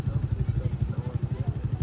Sağ tərəfdən söhbət gedir.